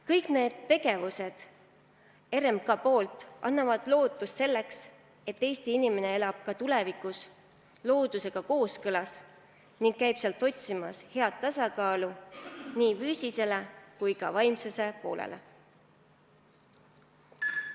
Kõik need RMK tegevused annavad lootust selleks, et Eesti inimene elab ka tulevikus loodusega kooskõlas ning käib loodusest otsimas tasakaalu, et rahuldatud oleks nii füüsiline kui ka vaimne pool.